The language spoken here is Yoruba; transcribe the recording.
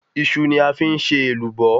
Iṣu ni a fi n ṣe Èlùbọ́